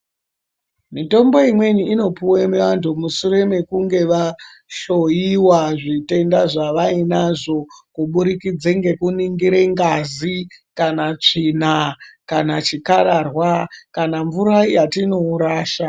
Mitombo imweni inopuwe vantu mushure mekunge vahloyiwa zvitenda zvavainazvo Kuburikidze ngekuningire ngazi kana tsvina kana chikararwa kana mvura yatinorasha.